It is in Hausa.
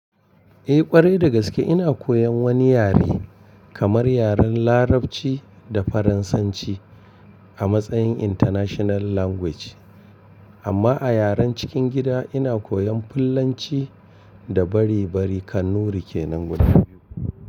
Eh ƙwarai dagaske ina koyan wani yare kamar yaren larabci da faransanci a matsayin international language amma a yaren cikin gida ina koyan fulanci da bari bari kanuri kenan guda biyu.